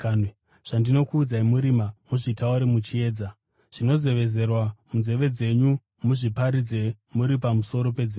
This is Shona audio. Zvandinokuudzai murima muzvitaure muchiedza; zvinozevezerwa munzeve dzenyu, muzviparidze muri pamusoro pedzimba.